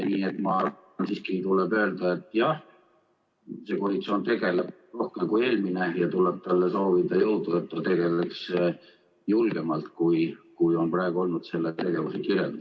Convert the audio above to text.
Nii et siiski tuleb öelda, et see koalitsioon tegeleb selle teemaga rohkem kui eelmine, ja talle tuleb soovida jõudu, et ta tegutseks julgemalt, kui on praegu olnud selle tegevuse kirjeldus.